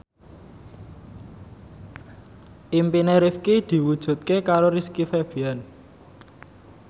impine Rifqi diwujudke karo Rizky Febian